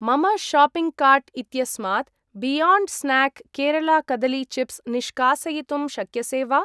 मम shopping cart इत्यस्मात् Beyond Snack Kerala कदली चिप्स् निष्कासयितुं शक्यसे वा?